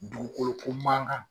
Dugukolo ko man kan!